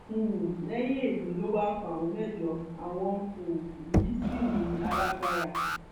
um lẹyìn èyí ló wáá kan àwọn mẹjọ àwọn um yìí sí ní alágbára